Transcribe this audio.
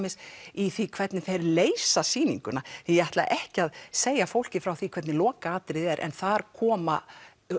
í því hvernig þeir leysa sýninguna ég ætla ekki að segja fólki frá því hvernig lokaatriðið er en þar koma